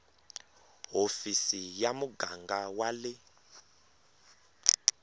hofisi ya muganga wa le